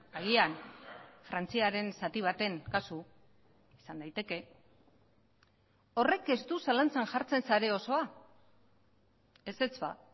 agian frantziaren zati baten kasu izan daiteke horrek ez du zalantzan jartzen sare osoa ezetz ba